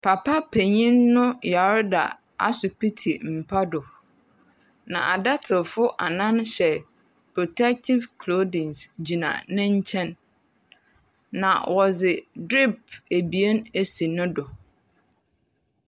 Papa panyin no yare d asopiti mpa do. Na adokotafo annan hyɛ protektive klodin gyina ne nkyɛn. Na wɔdze drip ebien asi ne do.